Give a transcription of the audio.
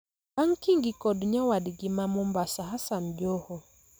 bang' Kingi kod nyawadgi ma Mombasa Hassan Joho